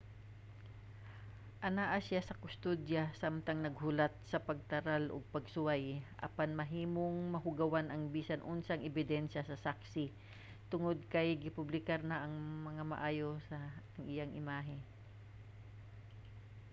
anaa siya sa kustodiya samtang naghulat sa pagtaral og pagsuway apan mahimong mahugawan ang bisan unsang ebidensya sa saksi tungod kay gipublikar na nga maayo ang iyahang imahe